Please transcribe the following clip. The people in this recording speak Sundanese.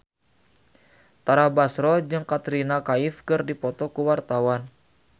Tara Basro jeung Katrina Kaif keur dipoto ku wartawan